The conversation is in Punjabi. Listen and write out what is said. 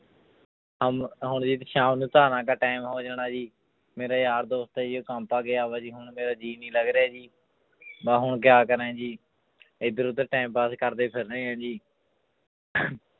ਹਮ ਹੁਣ ਸ਼ਾਮ ਨੂੰ ਧਾਰਾਂ ਕਾ time ਹੋ ਜਾਣਾ ਜੀ ਮੇਰੇ ਯਾਰ ਦੋਸਤ ਆ ਜੀ ਉਹ ਗਿਆ ਵਾ ਜੀ ਹੁਣ ਮੇਰਾ ਜੀਅ ਨੀ ਲੱਗ ਰਿਹਾ ਜੀ ਮੈਂ ਹੁਣ ਕਿਆ ਕਰਾਂ ਜੀ ਇੱਧਰ ਉੱਧਰ time pass ਕਰਦੇ ਫਿਰ ਰਹੇ ਹਾਂ ਜੀ